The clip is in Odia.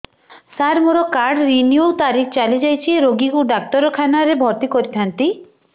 ସାର ମୋର କାର୍ଡ ରିନିଉ ତାରିଖ ଚାଲି ଯାଇଛି ରୋଗୀକୁ ଡାକ୍ତରଖାନା ରେ ଭର୍ତି କରିଥାନ୍ତି